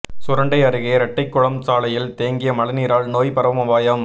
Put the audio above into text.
சுரண்டை அருகே ரெட்டைகுளம் சாலையில் தேங்கிய மழைநீரால் நோய் பரவும் அபாயம்